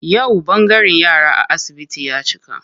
Yau ɓangaren yara a asibiti ya cika.